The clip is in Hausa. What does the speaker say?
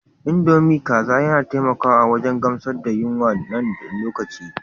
Indomie kaza yana taimakawa wajen gamsar da yunwa na ɗan lokaci.